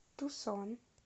тусон